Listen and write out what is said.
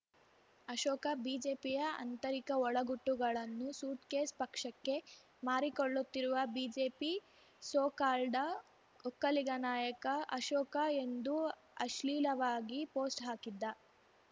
ಅಶೋಕ ಬಿಜೆಪಿಯ ಆಂತರಿಕ ಒಳ ಗುಟ್ಟುಗಳನ್ನು ಸೂಟ್‌ಕೇಸ್‌ ಪಕ್ಷಕ್ಕೆ ಮಾರಿಕೊಳ್ಳುತ್ತಿರುವ ಬಿಜೆಪಿ ಸೋ ಕಾಲ್ಡ ಒಕ್ಕಲಿಗ ನಾಯಕ ಅಶೋಕ ಎಂದು ಅಶ್ಲೀಲವಾಗಿ ಪೋಸ್ಟ್‌ ಹಾಕಿದ್ದ